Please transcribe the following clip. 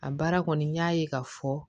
A baara kɔni n y'a ye k'a fɔ